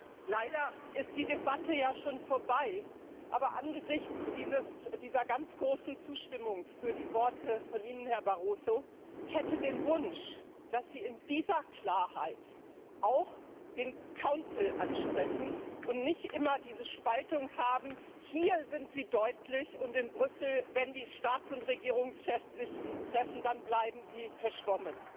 Leider ist die Debatte schon vorbei, aber angesichts dieser ganz großen Zustimmung für Ihre Worte, Herr Barroso, hätte ich den Wunsch, dass Sie in dieser Klarheit auch den Rat ansprechen und nicht immer diese Spaltung haben, hier sind Sie deutlich, und in Brüssel, wenn sich die Staats und Regierungschefs treffen, dann bleiben Sie verschwommen.